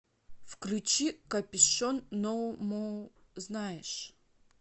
включи копюшон ноу мо знаешь